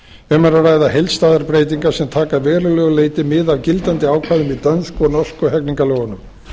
um er að ræða heildstæðar breytingar sem taka að verulegu leyti mið af gildandi ákvæðum í dönsku og norsku hegningarlögunum